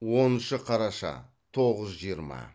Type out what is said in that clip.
оныншы қараша тоғыз жиырма